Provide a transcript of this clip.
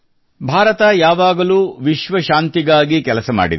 ಭಾರತ ಯಾವಾಗಲೂ ವಿಶ್ವ ಶಾಂತಿಗಾಗಿ ಕೆಲಸ ಮಾಡಿದೆ